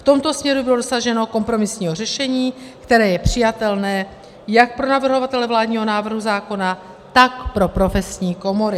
V tomto směru bylo dosaženo kompromisního řešení, které je přijatelné jak pro navrhovatele vládního návrhu zákona, tak pro profesní komory.